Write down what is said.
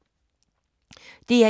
DR1